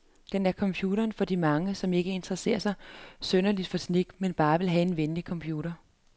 Den er computeren for de mange, som ikke interesserer sig synderligt for teknik, men bare vil have en venlig computer.